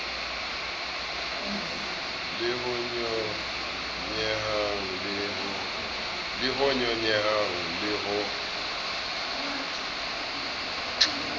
le ho nyonyehang le ho